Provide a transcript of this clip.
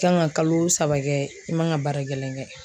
I kan ka kalo saba kɛ i man kan ka baara gɛlɛn kɛ